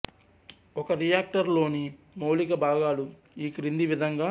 ఒక రియాక్టర్ లోని మౌలిక భాగాలు ఈ క్రింది విధంగా